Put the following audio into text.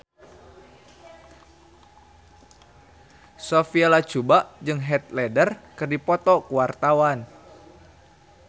Sophia Latjuba jeung Heath Ledger keur dipoto ku wartawan